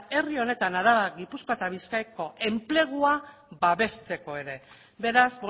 herri honetan araba gipuzkoa eta bizkaiko enplegua babesteko ere beraz